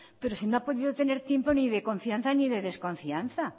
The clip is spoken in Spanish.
pero si no ha podido tener tiempo ni de confianza ni de desconfianza